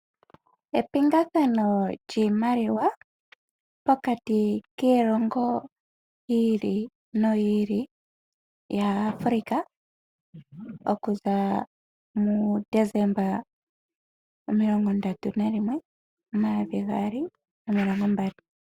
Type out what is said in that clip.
Epingathano lyiimaliwa pokati kiilongo yi ili noyi ili yaAfrica okuza mu 31 Desemba 2020.